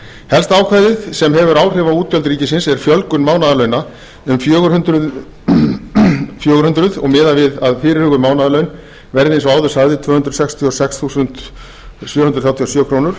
helsta ákvæðið sem hefur áhrif á útgjöld ríkisins er fjölgun mánaðarlauna um fjögur hundruð og miðað við að fyrirhuguð mánaðarlaun verði eins og áður sagði tvö hundruð sextíu og sex þúsund sjö hundruð þrjátíu og sjö krónur